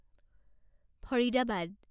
Faridabad